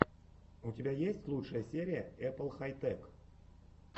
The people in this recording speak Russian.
у тебя есть лучшая серия эппл хай тэк